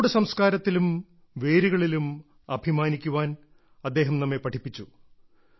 നമ്മുടെ സംസ്കാരത്തിലും വേരുകളിലും അഭിമാനിക്കാൻ അദ്ദേഹം നമ്മെ പഠിപ്പിച്ചു